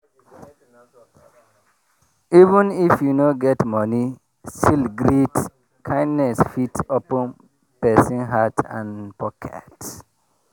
even if you no get money still greet kindness fit open persin heart and pocket.